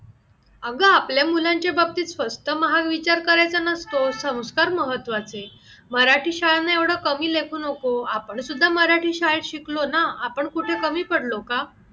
अगं आपल्या मूल्यांच्या बाबतीत first turn हा विचार करायचा नसतो संस्कार महत्वाचे मराठी शाळांना एवढं कमी लेखू नको आपण सुद्धा मराठी शाळेत शिकलो ना, आपण कुठे कमी पडलो का?